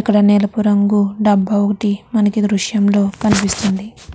ఇక్కడ నెలుపు రంగు డబ్బా ఒకటి మనకి దృశ్యంలో కనిపిస్తుంది.